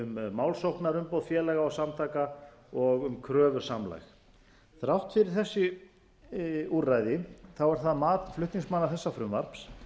samlagsaðild um málsóknarumboð félaga og samtaka og um kröfusamlag þrátt fyrir þessi úrræði er það mat flutningsmanna þessa frumvarps